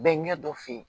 Bɛɛ ɲɛ dɔ fe yen